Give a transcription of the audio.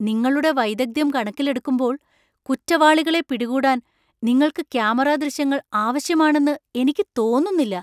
നിങ്ങളുടെ വൈദഗ്ദ്ധ്യം കണക്കിലെടുക്കുമ്പോൾ, കുറ്റവാളികളെ പിടികൂടാൻ നിങ്ങൾക്ക് ക്യാമറ ദൃശ്യങ്ങൾ ആവശ്യമാണെന്ന് എനിക്ക് തോന്നുന്നില്ല.